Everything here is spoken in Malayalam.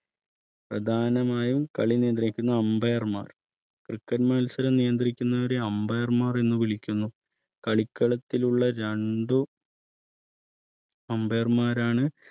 പ്രധാനമായും കളിനിലന്ത്രിക്കുന്ന umpire ർ ക്രിക്കറ്റ് മത്സരം നിയന്ത്രിക്കുന്നവരെ Ambire മാർ എന്ന് വിളിക്കുന്നു കളിക്കളത്തിൽ ഉള്ള രണ്ട് umpire ർമാരാണ്